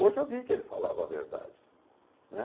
Hoje eu vi que ele falava a verdade, né?